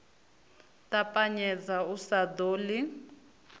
ṱapanyedza u sa ḓo ḽi